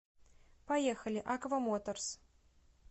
поехали аква моторс